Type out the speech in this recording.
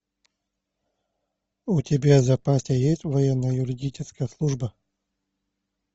у тебя в запасе есть военно юридическая служба